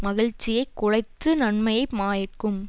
மகிழ்ச்சியை குலைத்து நன்மையை மாய்க்கும்